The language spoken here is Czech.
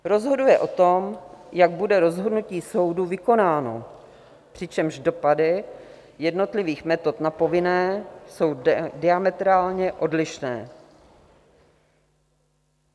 Rozhoduje o tom, jak bude rozhodnutí soudu vykonáno, přičemž dopady jednotlivých metod na povinné jsou diametrálně odlišné.